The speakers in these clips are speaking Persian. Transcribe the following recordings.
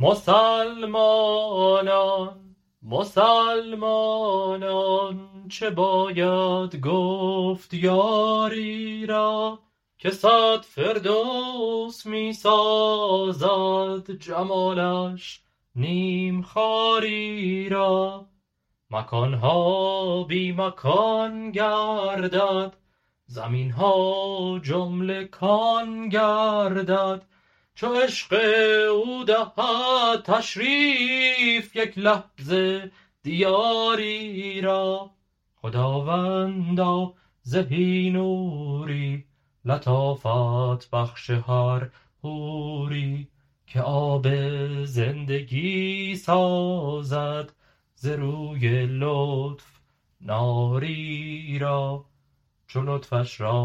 مسلمانان مسلمانان چه باید گفت یاری را که صد فردوس می سازد جمالش نیم خاری را مکان ها بی مکان گردد زمین ها جمله کان گردد چو عشق او دهد تشریف یک لحظه دیاری را خداوندا زهی نوری لطافت بخش هر حوری که آب زندگی سازد ز روی لطف ناری را چو لطفش را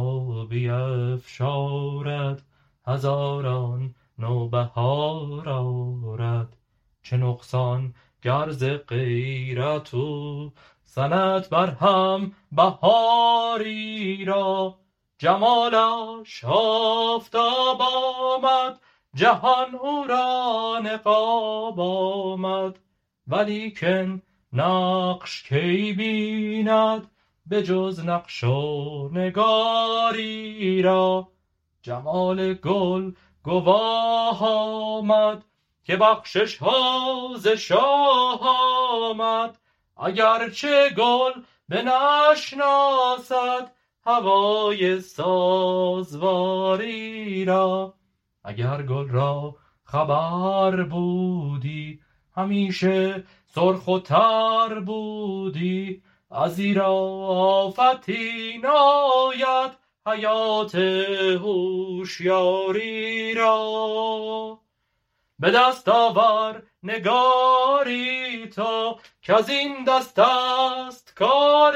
بیفشارد هزاران نوبهار آرد چه نقصان گر ز غیرت او زند برهم بهاری را جمالش آفتاب آمد جهان او را نقاب آمد ولیکن نقش کی بیند به جز نقش و نگاری را جمال گل گواه آمد که بخشش ها ز شاه آمد اگر چه گل بنشناسد هوای سازواری را اگر گل را خبر بودی همیشه سرخ و تر بودی ازیرا آفتی ناید حیات هوشیاری را به دست آور نگاری تو کز این دستست کار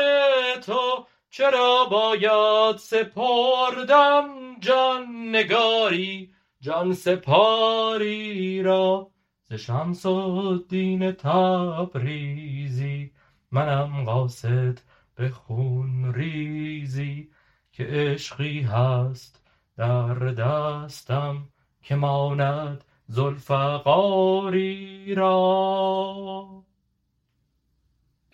تو چرا باید سپردن جان نگاری جان سپار ی را ز شمس الدین تبریزی منم قاصد به خون ریزی که عشقی هست در دستم که ماند ذوالفقاری را